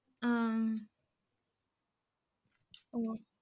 அஹ் ஓ